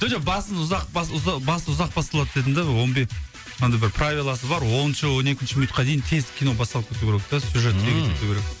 жоқ басын ұзақ басы ұзақ басталады дедім де андай бір правиласы бар оныншы он екінші минутқа дейін тез кино басталып кетуі керек те сюжет